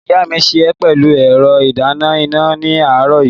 Ìyá mi sè é pẹ̀lú ẹ̀rọ ìdáná iná ní àárọ̀ yìí.